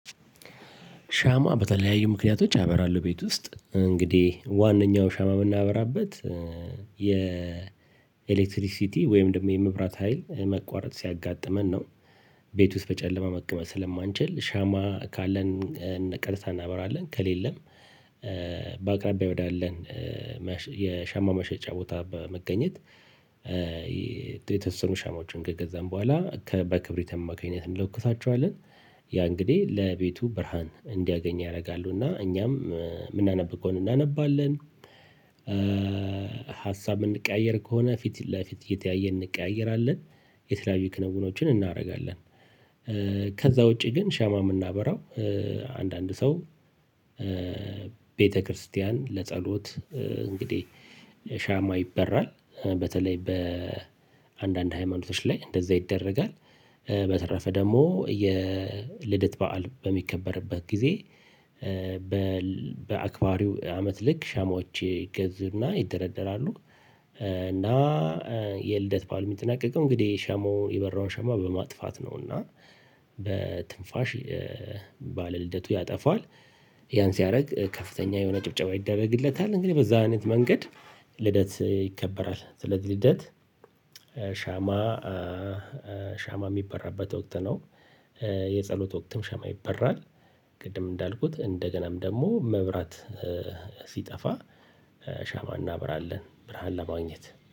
ሻማ በተለያዩ ምክንያቶች ያበራሉ ቤት ውስጥ እንግዲህ ዋናው ሻማ የምናበራበት የኤሌክትሪክሲቲ ወይም ደግሞ የመብራት ሀይል መቋረጥ ሲያጋጥመን ነው። ቤት ውስጥ በጨለማ መቀመጥ ስለማንችል ሻማ ካለን ቀጥታ እናበራለን ከሌለም በአቅራቢያ ወዳለን የሻማ መሸጫ ቦታ በመገኘት የተወሰኑ ሻማዎችን ከገዛን በኋላ በክብሪትም አማካኝነት እንለኩሳቸዋለን። ያ እንግዲህ ለቤቱ ብርሃን እንዲያገኝ ያደርጋሉ እና እኛም የምናነብ ከሆነ እናነባለን። ሀሳብ እንቀያየር ከሆነ ፊት ለፊት እየተያየ እንቀያየራለን። የተለያዩ ክንውኖችን እናደርጋለን። ውጪ ግን ሻማ የምናበራው አንዳንድ ሰው ቤተክርስቲያን ለጸሎት እንግዲህ ሻማ ይበራል በተለይ በአንዳንድ ሃይማኖቶች ላይ እንደዛ ይደረጋል። በተረፈ ደግሞ የልደት በዓል በሚከበርበት ጊዜ በአክባሪው አመት ልክ ሻማዎች ይገዙና ይደረደራሉ። እና የልደት በዓል የሚጠናቀቀው እንግዲህ ሻማውን የበራውን ሻማ በማጥፋት ነው። እና በትንፋሽ በባለ ልደቱ ያጠፋል። ያን ሲያደርግ ከፍተኛ የሆነ ጭብጨባ ይደረግለታል እንግዲህ በዛ አይነት መንገድ ልደት ይከበራል። ስለዚህ ልደት ሻማ ሻማ የሚበራበት ወቅት ነው። የጸሎት ወቅትም ሻማ ይበራል። ቅድም እንዳልኩት እንደገናም ደግሞ መብራት ሲጠፋ ሻማ እናብራለን ብርሃን ለማግኘት